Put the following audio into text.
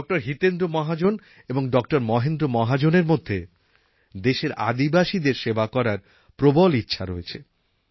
ড হিতেন্দ্র মহাজন এবং ড মহেন্দ্র মহাজন এর মধ্যে দেশের আদিবাসীদের সেবা করার প্রবল ইচ্ছা রয়েছে